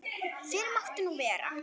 Fyrr mátti nú vera!